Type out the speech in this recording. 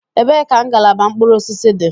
Ebee ka ngalaba mkpụrụ osisi dị?